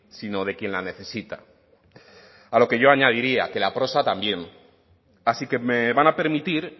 sino de quien la necesita a lo que yo añadiría que la prosa también así que me van a permitir